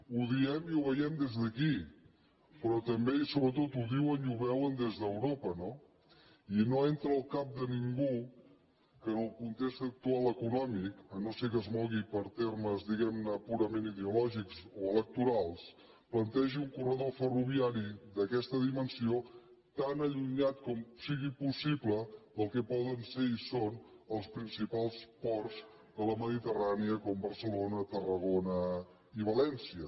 ho diem i ho veiem des d’aquí però també i sobretot ho diuen i ho veuen des d’europa no i no entra al cap de ningú que en el context actual econòmic si no és que es mou per termes diguem ne purament ideològics o electorals plantegi un corredor ferroviari d’aquesta dimensió tan allunyat com sigui possible del que poden ser i són els principals ports de la mediterrània com barcelona tarragona i valència